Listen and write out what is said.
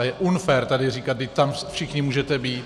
A je unfér tady říkat "vždyť tam všichni můžete být".